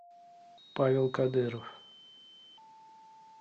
павел кадыров